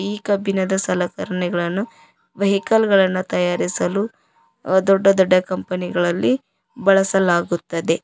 ಈ ಕಬ್ಬಿಣದ ಸಲಕರಣೆಗಳನ್ನು ವೆಹಿಕಲ್ ಗಳನ್ನ ತಯಾರಿಸಲು ದೊಡ್ಡ ದೊಡ್ಡ ಕಂಪನಿ ಗಳಲ್ಲಿ ಬಳಸಲಾಗುತ್ತದೆ.